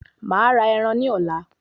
Màá ra ẹran ní ọ̀la